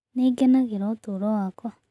Nĩ ngenagĩra ũtũũro wakwa